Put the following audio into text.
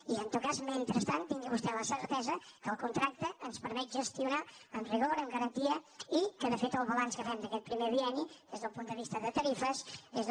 i en tot cas mentrestant tingui vostè la certesa que el contracte ens permet gestionar amb rigor amb garantia i que de fet el balanç que fem d’aquest primer bien ni des del punt de vista de tarifes des de